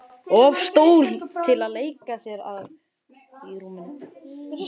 Of stór til að leika sér að.